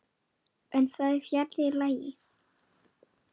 En það er fjarri lagi.